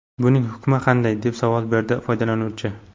Buning hukmi qanday?” deb savol berdi foydalanuvchi.